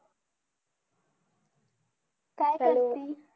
Hello